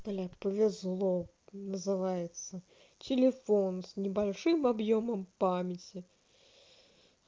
олег повезло называется телефон с небольшим объёмом памяти